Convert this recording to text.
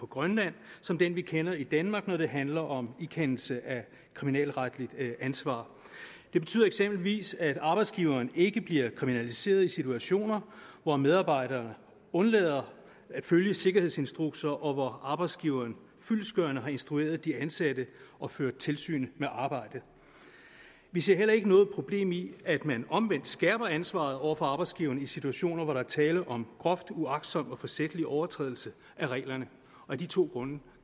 grønland som den vi kender i danmark når det handler om ikendelse af kriminalretligt ansvar det betyder eksempelvis at arbejdsgiveren ikke bliver kriminaliseret i situationer hvor medarbejdere undlader at følge sikkerhedsinstrukser og hvor arbejdsgiveren fyldestgørende har instrueret de ansatte og ført tilsyn med arbejdet vi ser heller ikke noget problem i at man omvendt skærper ansvaret over for arbejdsgiveren i situationer hvor der er tale om groft uagtsom og forsætlig overtrædelse af reglerne af de to grunde